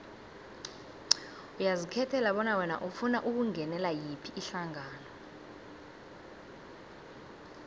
uyazikhethela bona wena ufuna ukungenela yiphi ihlangano